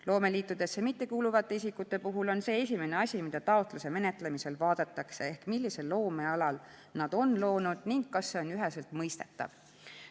Loomeliitudesse mittekuuluvate isikute puhul on see esimene asi, mida taotluse menetlemisel vaadatakse: millisel loomealal nad on loonud ning kas see on üheselt mõistetav.